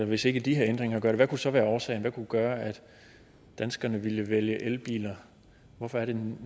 hvis ikke de her ændringer gør det hvad kunne så være årsagen hvad kunne gøre at danskerne ville vælge elbiler hvorfor er det